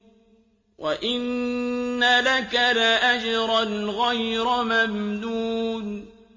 وَإِنَّ لَكَ لَأَجْرًا غَيْرَ مَمْنُونٍ